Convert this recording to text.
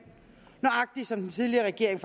nøjagtig som den tidligere regering